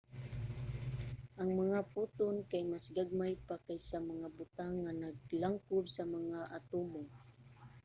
ang mga photon kay mas gagmay pa kaysa mga butang nga naglangkob sa mga atomo!